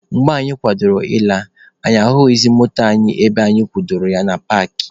Mgbe anyị kwadoro ịla, anyị ahụghịzị moto anyị ebe anyị kwụbara ya na paakị.